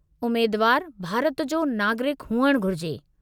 उमेदवारु भारत जो नागरिकु हुअणु घुरिजे।